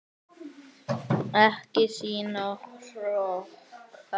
Ekki sýna hroka!